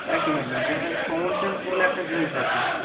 একদম একদম common sense বলে একটা জিনিস আছে,